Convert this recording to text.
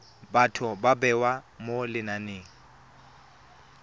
batho ba bewa mo lenaneng